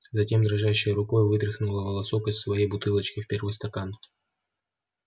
затем дрожащей рукой вытряхнула волосок из своей бутылочки в первый стакан